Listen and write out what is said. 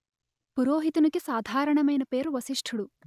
పురోహితునికి సాధారణమైన పేరు వశిష్ఠుడు